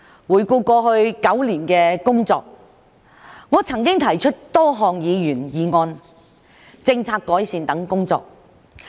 回顧過去9年的工作，我曾經提出多項議員議案、政策改善等工作。